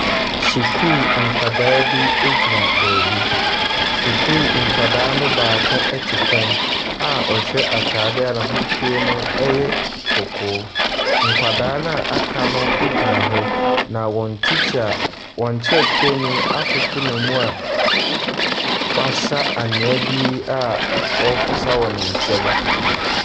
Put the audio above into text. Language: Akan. Sukuu nkwadaa bi gyina baabi. Sukuu nkwadaa no baako te fam a ɔhyɛ atadeɛ a n'ahosuo no yɛ kɔkɔɔ. Nkwadaa no a wɔaka no gyina hɔ. Na wɔn tikya wɔn kyerɛkyerɛni akoto no wɔn mu a wasa anwea bi a ɔreposa wɔ ne nsam.